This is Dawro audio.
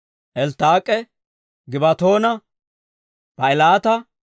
Elttaak'e, Gibbatoona, Baa'ilaata,